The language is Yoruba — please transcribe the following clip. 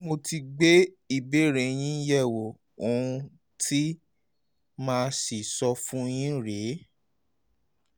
mo ti gbé um ìbéèrè yín um yẹ̀wò ohun tí màá sì sọ fún yín rè é